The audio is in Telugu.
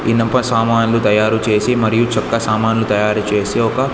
ఇనుప సామాన్లు తయారు చేసి మరియు చెక్క సామాన్లు తయారు చేసి ఒక--